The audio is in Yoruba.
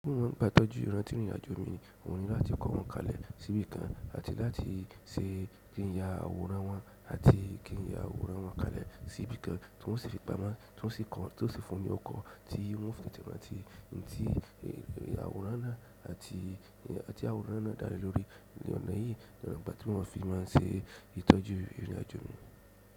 Bí mo man ń gba ìtọ́jú ìrantí ìrìnàjò mi, ohun ní láti kọ́ wọn kalẹ̀ sí ibìkan àti láti ṣe kí ń ya àwòrán wọn àti kí ń ya àwòrán wọn kalẹ̀ sí ibìkan tí wọ́n sì fi pamọ́ tí ó sì fún ni ọrukọ̀ tí n o fi tẹ̀te rántí nǹkan tí àwòrán náà àti nkan ti àwòrán náà dá lé lórí ọ̀nà yìí nígbà tí wọ́n fi máa ń ṣe ìtọ́jú ìrìnàjò omi.